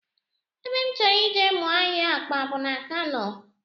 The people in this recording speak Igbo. Ebe m chọrọ ije mụọ ahịa akpa bụ na Kano